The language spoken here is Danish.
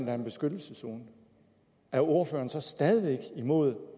er en beskyttelseszone er ordføreren så stadig væk imod